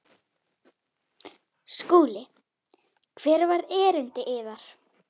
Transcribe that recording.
SKÚLI: Hvert var erindi yðar?